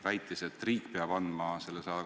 Vastus on, et jah, loomulikult saame saata.